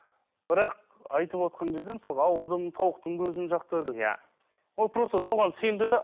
бірақ айтып отырған кезде мысалы ауырдым тауықтың көзін жақты деп иә ол просто соған сенді де